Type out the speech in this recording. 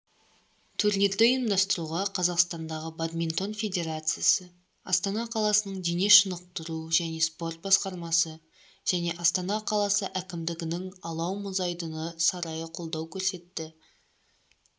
турнирді ұйымдастыруға қазақстандағы бадминтон федерациясы астана қаласының дене шынықтыру және спорт басқармасы және астана қаласы әкімдігінің алау мұзайдыны сарайы қолдау көрсетті